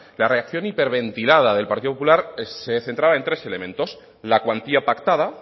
la reacción hiperventilada del partido popular se centraba en tres elementos la cuantía pactada